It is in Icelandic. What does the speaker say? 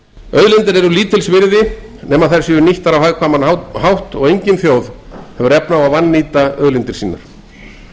auðlindir eru lítils virði nema þær séu nýttar á hagkvæman máta og engin þjóð hefur efni á að vannýta auðlindir sínar